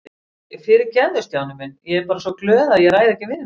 Æ, fyrirgefðu Stjáni minn, ég er bara svo glöð að ég ræð ekki við mig